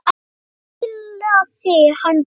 Það fílaði hann best.